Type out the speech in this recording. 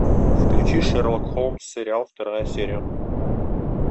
включи шерлок холмс сериал вторая серия